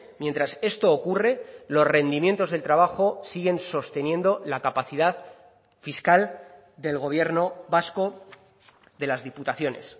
mientras esto ocurre los rendimientos del trabajo siguen sosteniendo la capacidad fiscal del gobierno vasco de las diputaciones